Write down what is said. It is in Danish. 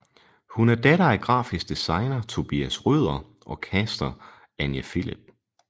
Hun er datter af grafisk designer Tobias Røder og caster Anja Philip